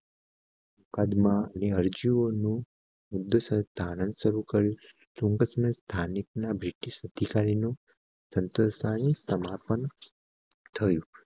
કદમાં સ્થાનિકના બ્રિટિશ અધિકારીનું થયું